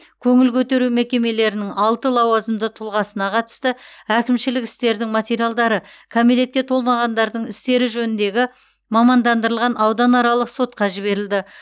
көңіл көтеру мекемелерінің алты лауазымды тұлғасына қатысты әкімшілік істердің материалдары кәмелетке толмағандардың істері жөніндегі мамандандырылған ауданаралық сотқа жіберілді